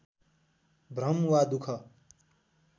भ्रम वा दुःख